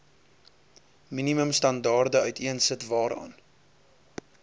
minimumstandaarde uiteensit waaraan